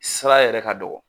Sira yɛrɛ ka dɔgɔ